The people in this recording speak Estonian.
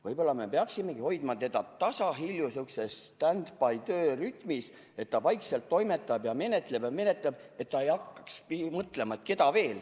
Võib-olla me peaksimegi hoidma seda tasahilju sihukeses standby-töörežiimis, et ta vaikselt toimetab ja menetleb ja menetleb, et ta ei hakkaks mõtlema, keda veel.